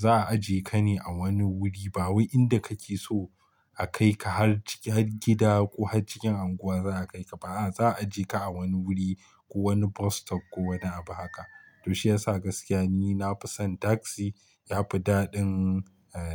za a ajiye ka ne a wani wuri ba wai inda kake so a kai ka har ciki har gida ko har cikin unguwa za a kai ka. Ba a za a je ka a wani wuri ko wani bus stop ko wani abu haka. Toh shiyasa gaskiya ni nafisan taksi yafi dadin